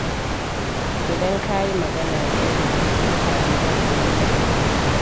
Idan ka yi magana da ladabi, mutane za su yi maka biyayya.